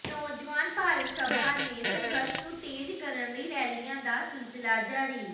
ਨੌਜਵਾਨ ਭਾਰਤ ਸਭਾ ਨੇ ਸੰਘਰਸ਼ ਨੂੰ ਤੇਜ਼ ਕਰਨ ਲਈ ਰੈਲੀਆਂ ਦਾ ਸਿਲਸਿਲਾ ਜਾਰੀ